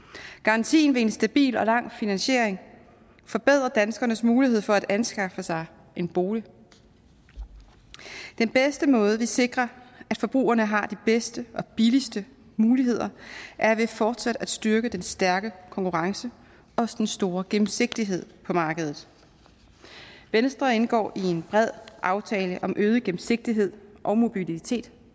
garantien ved en stabil og lang finansiering forbedrer danskernes mulighed for at anskaffe sig en bolig den bedste måde hvorpå vi sikrer at forbrugerne har de bedste og billigste muligheder er ved fortsat at styrke den stærke konkurrence og den store gennemsigtighed på markedet venstre indgår i en bred aftale om øget gennemsigtighed og mobilitet